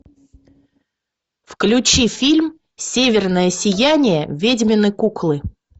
включи фильм северное сияние ведьмины куклы